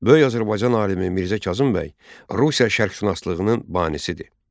Böyük Azərbaycan alimi Mirzə Kazım bəy Rusiya şərqşünaslığının banisidir.